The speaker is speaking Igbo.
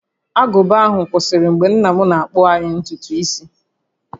Agụba ahụ kwụsịrị mgbe nna m na-akpụ anyị ntutu isi